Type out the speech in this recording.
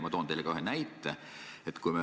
Ma toon teile ka ühe näite.